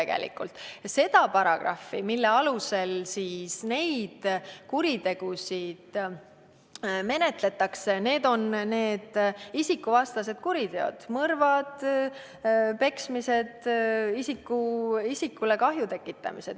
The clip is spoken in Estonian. Need paragrahvid, mille alusel neid kuritegusid menetletakse, käsitlevad isikuvastaseid kuritegusid, mõrvu, peksmist, isikule kahju tekitamist.